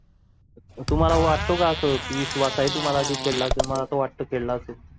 तुम्हाला वाटतो का अस के विश्वास आहे तुम्हाला कि खेळा असेल मला तर वाटत खेळा असेल